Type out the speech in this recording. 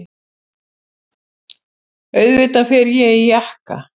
Auðvitað fer ég í jakka.